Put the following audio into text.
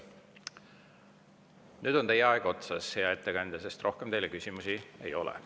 Nüüd on teie aeg otsas, hea ettekandja, sest rohkem teile küsimusi ei ole.